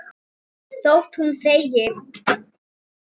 Þótt hún þegi.